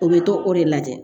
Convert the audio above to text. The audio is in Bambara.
U bɛ to o de lajɛ